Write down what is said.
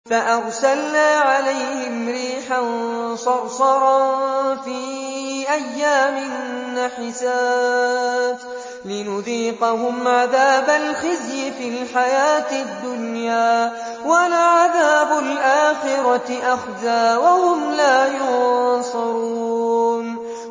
فَأَرْسَلْنَا عَلَيْهِمْ رِيحًا صَرْصَرًا فِي أَيَّامٍ نَّحِسَاتٍ لِّنُذِيقَهُمْ عَذَابَ الْخِزْيِ فِي الْحَيَاةِ الدُّنْيَا ۖ وَلَعَذَابُ الْآخِرَةِ أَخْزَىٰ ۖ وَهُمْ لَا يُنصَرُونَ